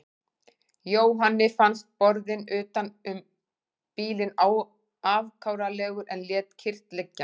Jóhanni fannst borðinn utan um bílinn afkáralegur en lét kyrrt liggja.